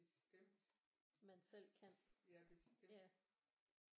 Bestemt ja bestemt